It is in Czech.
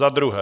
Za druhé.